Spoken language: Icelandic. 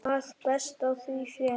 að best á því fer